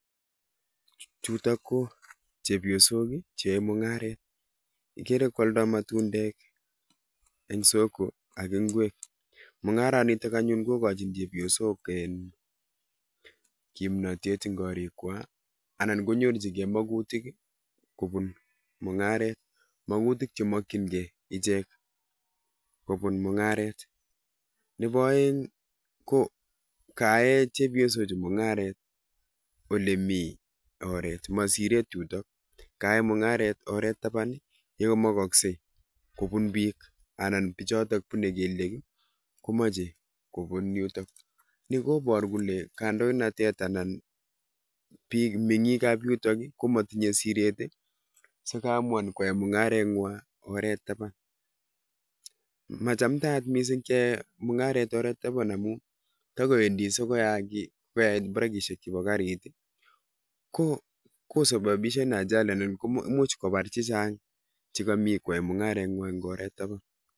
Chutok ko chepyosok cheyaei mung'aret. Igere koaldai matundek, eng soko ak ingwek. mung'aranitak anyun kokachin chepyosok kimnatet eng korikwai anan kyorchikei makutik kobun mung'aret. Makutik chemakchingei ichek kobun mung'aret. Nebo oeng ko kayae chepyosochu mung'aret ole mi oret. Ma siret yutok. Kayae mung'aret oret taban ye kamakosgei kobun pik. Anan pichitok punei kelyek komochei kopun yutok. Koboru kole kaindoinatet anan anan pik menyikab yutok komatinyei siret dikoamuan koyae mung'arengwai oret taban. Machamtayat mising keyae mung'aret oret taban amun takowendi sikoyaki brekishek chebo karit ko sababishan ajali anan much bopar chechang che kami koyaei mung'arengwai eng oret taban.